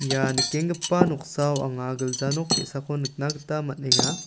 ia nikenggipa noksao anga gilja nok ge·sako nikna gita man·enga.